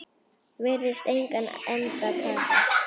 Virðist engan enda taka.